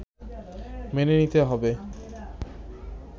মেনে নিতে হবে